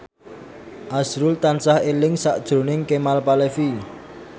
azrul tansah eling sakjroning Kemal Palevi